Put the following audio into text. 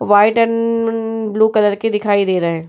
White and न blue colour की दिखाई दे रहे हैं।